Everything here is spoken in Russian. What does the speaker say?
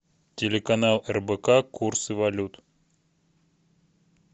телеканал рбк курсы валют